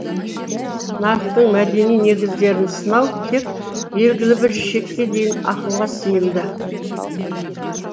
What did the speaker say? нарықтың мәдени негіздерін сынау тек белгілі бір шекке дейін ақылға сыйымды